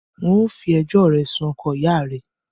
N o fi ẹjọ́ rẹ sun oko ìyá rẹ̀ẹ